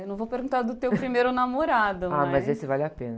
Eu não vou perguntar do teu primeiro namorado, mas...h, mas esse vale a pena.